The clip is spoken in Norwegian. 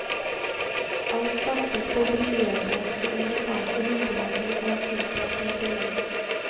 Alt satses på å blidgjøre de amerikanske myndigheter som har tiltalt rederiet.